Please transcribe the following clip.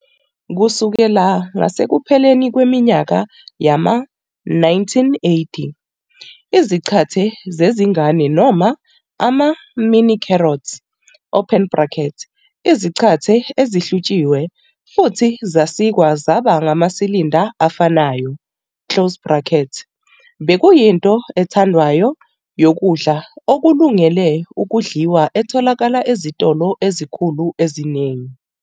Kusukela ngasekupheleni kweminyaka yama-1980, izaqathe zezingane noma ama-mini-carrot, izaqathe ezihlutshiwe futhi zasikwa zaba ngamasilinda afanayo, bekuyinto ethandwayo yokudla okulungele ukudliwa etholakala ezitolo ezinkulu eziningi.